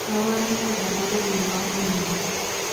Kabarunoik alaak kokeny komuuch komii.